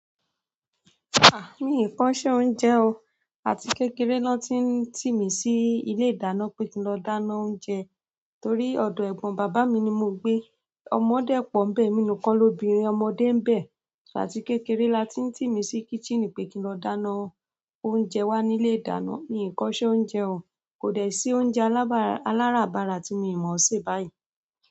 Ah! Mi kò sé oúnjẹ o. Àti kékeré nọ́ ti ń tì mí sí ilé ìdáná pé kí n lọ dáná oúnjẹ. Torí ọdọ ẹgbọn bàbá mí ni mo gbé ọmọ dẹ̀ pọ̀ mbe emi nìkan lóbìnrin. Ọmọdé ń bẹ, àti kékeré la ti ń tì mí sí kíṣíìnì pé kí n lọ dáná oúnjẹ wá nílé ìdáná. Mi kò sé oúnjẹ o. Kò dẹ sí oúnjẹ aláràbarà tí mo mọ̀ sé báyìí.